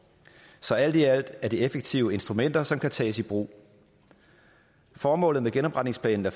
så alt i alt er det effektive instrumenter som kan tages i brug formålet med genopretningsplaner